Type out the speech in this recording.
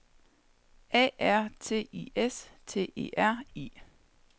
A R T I S T E R I